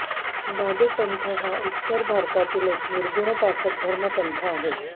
दादू पंथ हा उत्तर भारतातील एक निर्गुणोपासक धर्मपंथ आहे